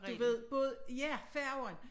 Du ved både ja færger